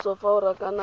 thuso fa o rakana le